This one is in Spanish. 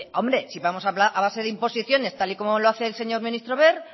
hombre si vamos a base de imposiciones tal y como lo hace el señor ministro wert